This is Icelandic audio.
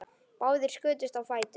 Báðir skutust á fætur.